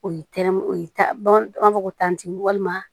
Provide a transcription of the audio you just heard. O ye tɛrɛmew ye bamananw b'a fɔ ko tanti walima